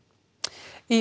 í